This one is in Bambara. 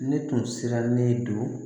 Ne tun sirannen don